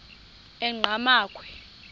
enqgamakhwe